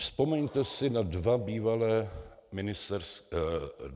Vzpomeňte si na dva bývalé ministry financí.